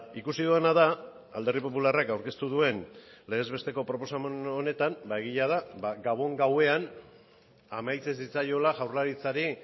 ikusi dudana da alderdi popularrak aurkeztu duen legez besteko proposamen honetan egia da gabon gauean amaitzen zitzaiola jaurlaritzari